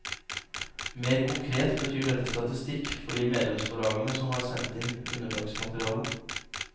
Mer konkret betyr dette statistikk for de medlemsforlagene som har sendt inn underlagsmateriale.